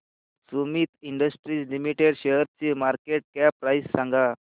Sumeet industries limited शेअरची market cap price सांगा